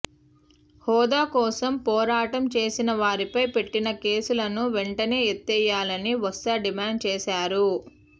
హోదా కోసం పోరాటం చేసిన వారిపై పెట్టిన కేసులను వెంటనే ఎత్తేయాలని బొత్స డిమాండ్ చేశారు